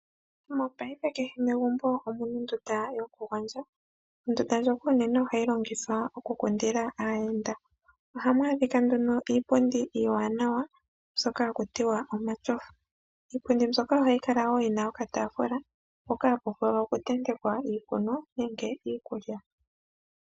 Mopaife kehe megumbo omu na ondunda yokugondja. Ondunda ndjoka onene ohayi longithwa okukundila aayenda. Ohamu adhika nduno iipundi iiwanawa mbyoka haku tiwa omashofa. Iipundi mbyoka ohayi kala wo yi na okataafula hoka haku vulu okutentekwa iikunwa nenge iikulya.